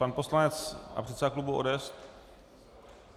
Pan poslanec a předseda klubu ODS?